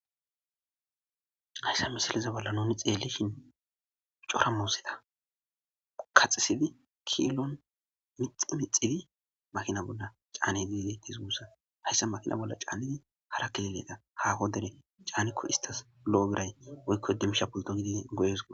hayssa misiliza bolla nuni xeellishin cora muuzeta kaxisidi kiilon mixi mixidi makina bolla caane diide tisuhussa hayssa makina bolla caannidi hara keleedha haaho dere caanikko istas lo7o biray woykko dimsha pulto gidi goyeseko